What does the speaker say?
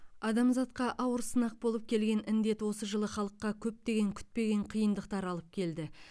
адамзатқа ауыр сынақ болып келген індет осы жылы халыққа көптеген күтпеген қиындықтар алып келді